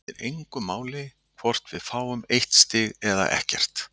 Það skiptir mig engu máli hvort við fáum eitt stig eða ekkert.